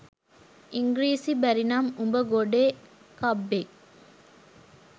ඉංග්‍රීසි බැරි නම් උඹ ගොඩේ කබ්බෙක්